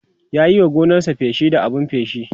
ya Yi wa gonarsa feshi da abun feshi